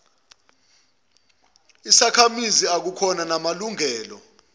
isakhamizi akukhona ngamalungelo